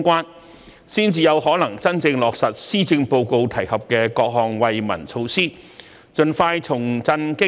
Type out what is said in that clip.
如此一來，才有可能真正落實施政報告提及的各項惠民措施，盡快重振經濟，改善民生。